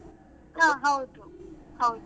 ಹಾ ಹೌದು ಹೌದು.